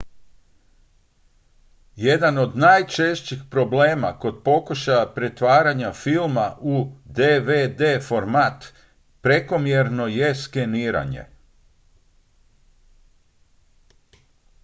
jedan od najčešćih problema kod pokušaja pretvaranja filma u dvd format prekomjerno je skeniranje